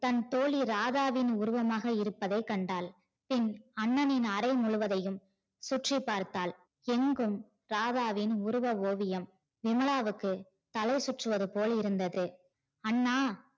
தன தோழி ராதாவின் உருவமாக இருப்பதை கண்டால் பின் அண்ணனின் அரை முழுவதும் சுற்றி பார்த்தால் எங்கும் ராதாவின் உருவ ஓவியம் விமலாவுக்கு தலை சுற்றுவதுபோல் இருந்தது. அண்ணா